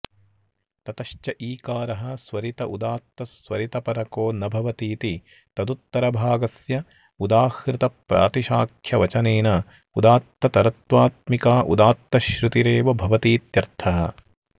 ततश्च ईकारः स्वरित उदात्तस्वरितपरको न भवतीति तदुत्तरभागस्य उदाह्मतप्रातिशाख्यवचनेन उदात्ततरत्वात्मिका उदात्तश्रुतिरेव भवतीत्यर्थः